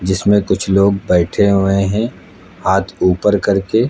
जिसमें कुछ लोग बैठे हुए हैं हाथ ऊपर करके।